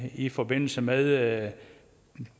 i forbindelse med